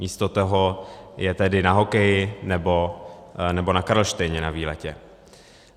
Místo toho je tedy na hokeji nebo na Karlštejně na výletě.